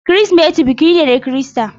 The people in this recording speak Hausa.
Kirsimeti biki ne na Kirista.